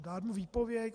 Dát mu výpověď?